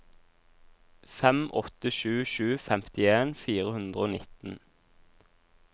fem åtte sju sju femtien fire hundre og nitten